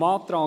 Zum Antrag